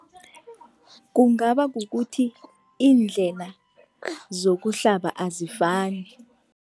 Kungaba kukuthi iindlela zokuhlaba azifani.